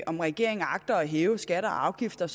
om regeringen agter at hæve skatter og afgifter